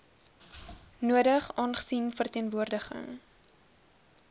nodig aangesien verteenwoordiging